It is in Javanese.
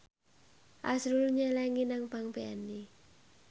azrul nyelengi nang bank BNI